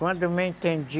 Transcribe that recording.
Quando eu me entendi,